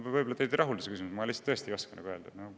Teid võib-olla ei rahulda see vastus, aga ma tõesti ei oska öelda.